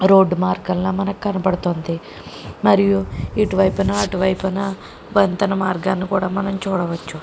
Road మార్గంలో మనకు కనబడుతుంది. మరియు ఇటువైపునఅటువైపున వంతెన మార్గాన్ని కూడా మనం చూడవచ్చు.